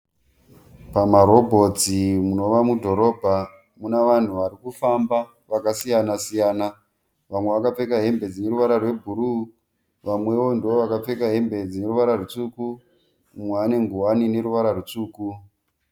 Pamarobhotsi munova mudhorobha muna vanhu varikufamba vakasiyana-siyana, vamwe vakapfeka hembe dzine ruvara rwebhuruu, vamwewo ndo vakapfeka hembe dzine ruvara rutsvuku, umwe ane nguwani ine ruvara rutsvuku.